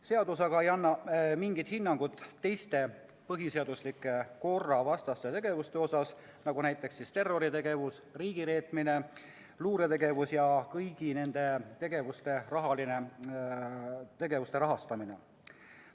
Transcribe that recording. Seadus aga ei anna mingit hinnangut teiste põhiseadusliku korra vastaste tegevuste kohta, nagu näiteks terroritegevus, riigireetmine, luuretegevus ja kõigi nende tegevuste rahastamine.